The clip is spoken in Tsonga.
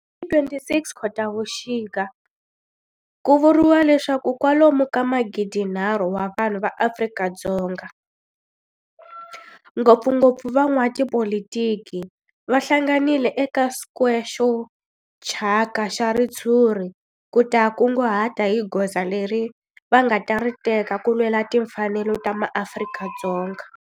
Hi ti 26 Khotavuxika ku vuriwa leswaku kwalomu ka magidinharhu wa vanhu va Afrika-Dzonga, ngopfungopfu van'watipolitiki va hlanganile eka square xo thyaka xa ritshuri ku ta kunguhata hi goza leri va nga ta ri teka ku lwela timfanelo ta maAfrika-Dzonga.